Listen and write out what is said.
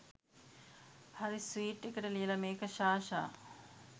හරි ස්වීට් එකට ලියල මේක ! සාෂා